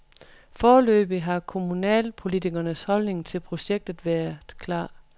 Foreløbig har kommunalpolitikernes holdning til projektet været klar.